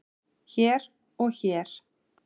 hér og hér.